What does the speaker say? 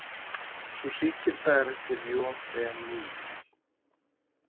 Sú sígilda er eftir J E Neale.